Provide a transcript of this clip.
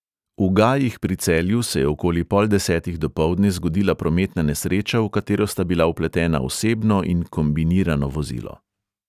V gajih pri celju se je okoli pol desetih dopoldne zgodila prometna nesreča, v katero sta bila vpletena osebno in kombinirano vozilo.